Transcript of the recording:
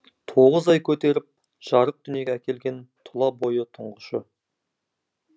тоғыз ай көтеріп жарық дүниеге әкелген тұла бойы тұңғышы